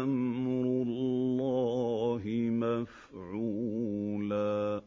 أَمْرُ اللَّهِ مَفْعُولًا